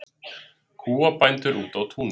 Kúabændur úti á túni